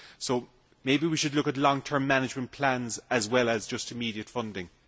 So maybe we should look at long term management plans as well as just immediate funding.